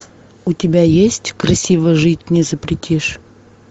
у тебя есть красиво жить не запретишь